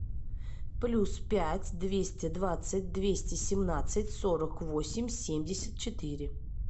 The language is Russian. плюс пять двести двадцать двести семнадцать сорок восемь семьдесят четыре